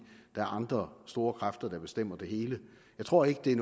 der er andre store kræfter der bestemmer det hele jeg tror ikke det er